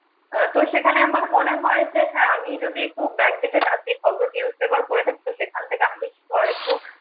তো সেখানে আমার মনে হয় যে, হ্যা আমি যদি খুব back dated খবর news paper পড়ে থাকি সে খান থেকে আমি